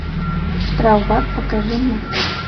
штрафбат покажи мне